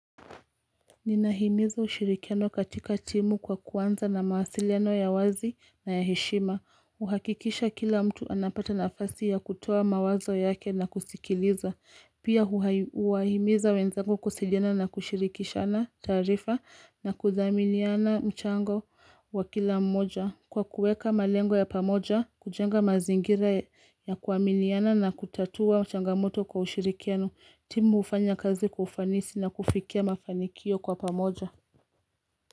Ninahimiza ushirikiano katika timu kwa kuanza na mawasiliano ya wazi na ya heshima. Uhakikisha kila mtu anapata nafasi ya kutoa mawazo yake na kusikiliza. Pia huwahimiza wenzangu kuwasiliana na kushirikishana taarifa na kuthaminiana mchango wa kila mmoja. Kwa kuweka malengo ya pamoja, kujenga mazingira ya kuaminiana na kutatua changamoto kwa ushirikiano. Timu hufanya kazi kwa ufanisi na kufikia mafanikio kwa pamoja.